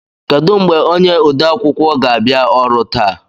Kedụ mgbe onye ode akwụkwọ ga-abịa ọrụ taa?